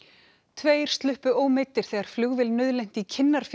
tveir sluppu ómeiddir þegar flugvél nauðlenti í